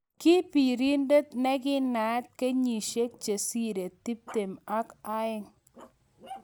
ki pirindet negi naat kenyisiek chesire tiptem ak eng